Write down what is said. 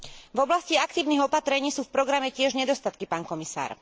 V oblasti aktívnych opatrení sú v programe tiež nedostatky, pán komisár.